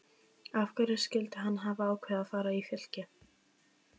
Af hverju skyldi hann hafa ákveðið að fara í Fylki?